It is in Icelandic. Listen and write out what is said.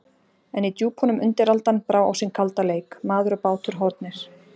En í djúpunum undiraldan, brá á sinn kalda leik: Maður og bátur horfnir.